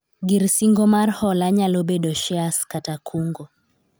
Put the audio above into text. gir singo mar hola nyalo bedo shares kata kungo